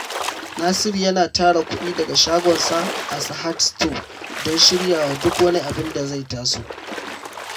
Nasiru yana tara kudi daga shagonsa a Sahad Stores don shirya wa duk wani abin da zai taso.